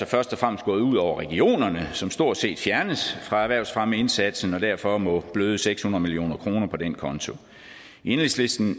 først og fremmest gået ud over regionerne som stort set fjernes fra erhvervsfremmeindsatsen og derfor må bløde seks hundrede million kroner på den konto i enhedslisten